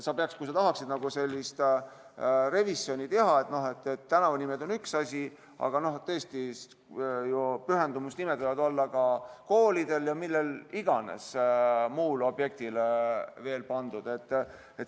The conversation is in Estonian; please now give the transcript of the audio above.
Kui sa tahaksid sellist revisjoni teha, siis tänavanimed on üks asi, aga teistpidi võivad pühendusnimed olla pandud ka koolidele ja millele iganes, muule objektile.